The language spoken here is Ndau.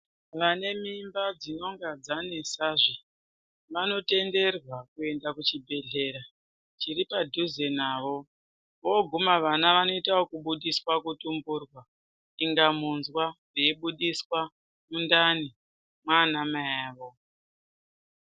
Vane mimba dzinonga dzanesahe vanotenderwa kuenda kuchibhehlera chiri padhuze navo voguma vana vanoita okubudiswa kutumburwa kuinga munzwa veibudiswa mundani mwana mai avo.